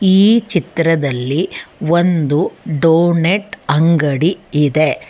ಈ ಚಿತ್ರದಲ್ಲಿ ಒಂದು ಡೊನೆಟ್ ಅಂಗಡಿ ಇದೆ.